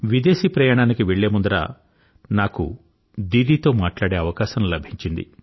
విదేశీ ప్రయాణానికి వెళ్ళే ముందర నాకు దీదీతో మాట్లాడే అవకాశం లభించింది